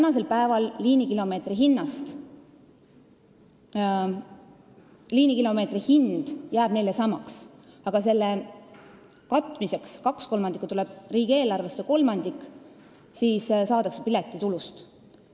Praegu jääb liinikilomeetri hind neil samaks, aga selle katmiseks tuleb kaks kolmandikku riigieelarvest ja kolmandik saadakse piletitulust.